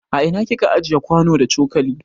A ina kika ajiye kwano da coƙali?